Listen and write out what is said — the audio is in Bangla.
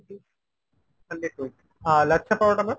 hundred twenty। আর লাচ্ছা পরোটা ma'am ?